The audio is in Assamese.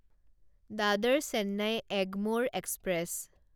দাদৰ চেন্নাই এগমৰে এক্সপ্ৰেছ